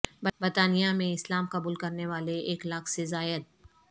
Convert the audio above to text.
برطانیہ میں اسلام قبول کرنےوالے ایک لاکھ سے زائد